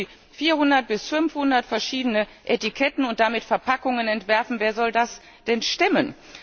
So müssen sie 400 bis 500 verschiedene Etiketten und damit Verpackungen entwerfen. Wer soll das denn stemmen?